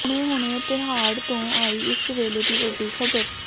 ਹੁਣੇ ਹੁਣੇ ਤਿਹਾੜ ਤੋਂ ਆਈ ਇਸ ਵੇਲੇ ਦੀ ਵੱਡੀ ਖਬਰ